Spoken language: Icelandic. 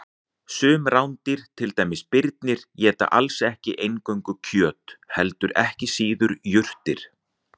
Sum rándýr, til dæmis birnir, éta alls ekki eingöngu kjöt heldur ekki síður jurtir.